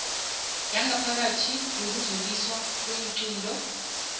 yangaphakathi yokudluliswa kweenqunto